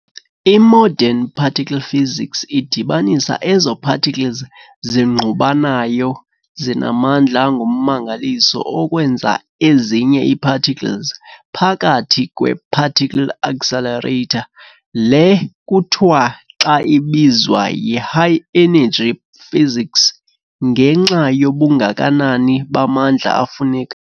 I-Modern particle physics idibanisa ezo-particles zingqubanayo zinamandla angummangaliso okwenza ezinye ezintsha ii-particles ngapkathi kwe-particle accelerator. Le ke kuthiwa xa ibizwa yi-high-energy physics, ngenxa yobungakanani bamandla afuneka